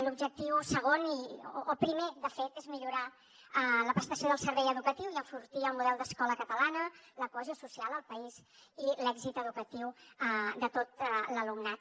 l’objectiu segon o primer de fet és millorar la prestació del servei educatiu i enfortir el model d’escola catalana la cohesió social al país i l’èxit educatiu de tot l’alumnat